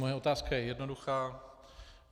Moje otázka je jednoduchá.